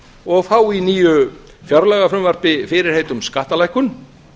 og fá í nýju fjárlagafrumvarpi fyrirheit um skattalækkun